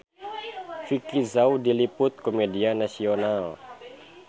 Vicki Zao diliput ku media nasional